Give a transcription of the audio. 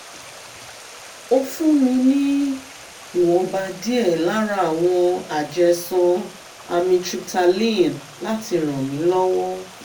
ó fún mi ní ìwọ̀nba díẹ̀ lára àwọn àjẹsán amytryptaline láti ràn mí lọ́wọ́